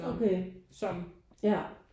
Okay ja